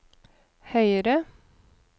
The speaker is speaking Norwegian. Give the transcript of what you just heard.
høyere